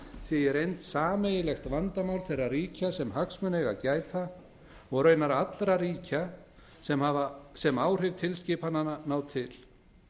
í reynd sameiginlegt vandamál þeirra ríkja sem hagsmuna eigi að gæta og raunar allra ríka sem áhrif tilskipananna ná til